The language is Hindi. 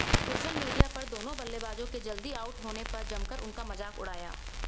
सोशल मीडिया पर दोनों बल्लेबाजों के जल्दी आउट होने पर जमकर उनका मजाक उड़ाया